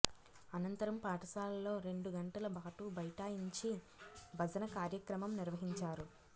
అనంతరం పాఠశాలలో రెండు గంటల పాటు బైఠాయించి భజన కార్యక్రమం నిర్వహించారు